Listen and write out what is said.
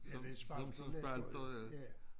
Ja det spartler lettere ja